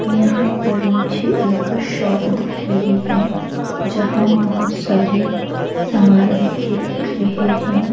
यहाँ पर मुझे एक शॉप दिख रही है जहाँ बहुत सारे सामान रखे दिख रहे हैं।